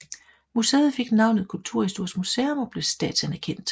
Museet fik navnet Kulturhistorisk Museum og blev statsanerkendt